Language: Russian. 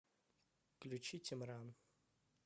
включи тимран